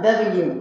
Bɛɛ b'i jeni